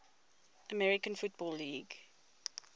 american football league